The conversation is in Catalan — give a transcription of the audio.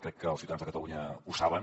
crec que els ciutadans de catalunya ho saben